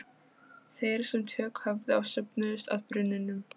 Þeir sem tök höfðu á söfnuðust að brunnunum.